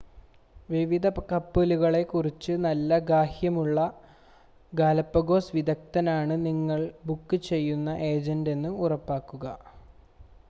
വിവിധ കപ്പലുകളെ കുറിച്ച് നല്ല ഗ്രാഹ്യമുള്ള ഗാലപ്പഗോസ് വിദഗ്‌ദ്ധനാണ് നിങ്ങൾ ബുക്ക് ചെയ്യുന്ന ഏജൻ്റെന്ന് ഉറപ്പാക്കുക